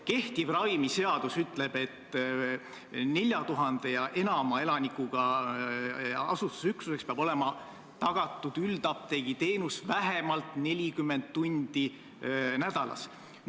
Kehtiv ravimiseadus ütleb, et 4000 või enama elanikuga asustusüksuses peab üldapteegiteenus olema tagatud vähemalt 40 tundi nädalas.